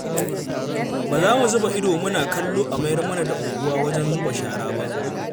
Ba za mu zuba ido muna kallo a mayar mana da unguwa wajen zuba shara ba.